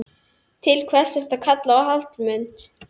Til hvers ertu að kalla á Hallmund?